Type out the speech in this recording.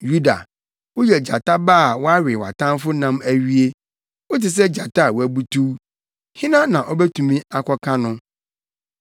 Yuda, woyɛ gyata ba a woawe wʼatamfo nam awie. Wote sɛ gyata a wabutuw. Hena na obetumi akɔka no?